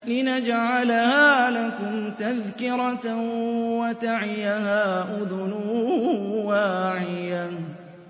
لِنَجْعَلَهَا لَكُمْ تَذْكِرَةً وَتَعِيَهَا أُذُنٌ وَاعِيَةٌ